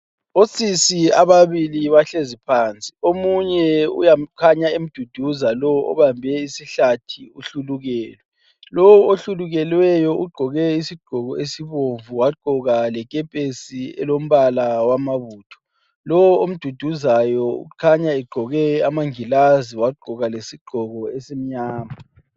Osisi ababili bahlezi phansi. Omunye ukhanya emduduza lowu obambe isihlathi uhlulukelwe. Lowu ohlukelweyo ugqoke isigqoko esibomvu wagqoka lekepesi elombala wamabutho. Lo omduduzayo ukhanya egqoke amangilazi wagqoka lesigqoko esimnyama.